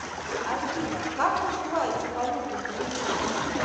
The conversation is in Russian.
афина как называется валюта в гвинее